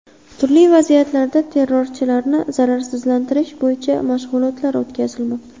Turli vaziyatlarda terrorchilarni zararsizlantirish bo‘yicha mashg‘ulotlar o‘tkazilmoqda.